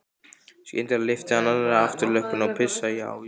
Skyndilega lyfti hann annarri afturlöppinni og pissaði á ísskápinn.